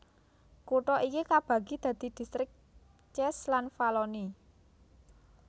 Kutha iki kabagi dadi distrik Cese lan Valloni